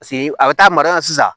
Paseke a bɛ taa mara sisan